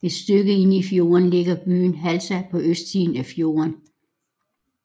Et stykke inde i fjorden ligger byen Halsa på østsiden af fjorden